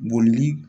Bolili